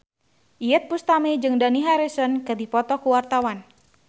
Iyeth Bustami jeung Dani Harrison keur dipoto ku wartawan